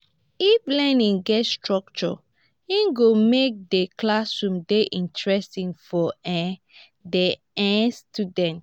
if learning get structure e go make di classroom dey interesting for um di um student.